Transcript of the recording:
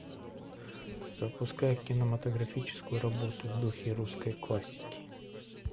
запускай кинематографическую работу в духе русской классики